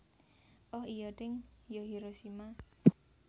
Oh iyo deng yo Hiroshima